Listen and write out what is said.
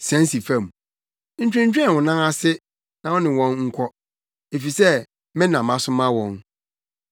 Sian si fam. Ntwentwɛn wo nan ase na wo ne wɔn nkɔ, efisɛ me na masoma wɔn.”